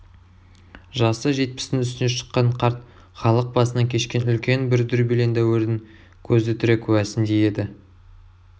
жасы жетпістің үстіне шыққан қарт халық басынан кешкен үлкен бір дүрбелең дәуірдің көзі тірі куәсіндей еді